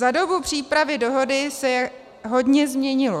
Za dobu přípravy dohody se hodně změnilo.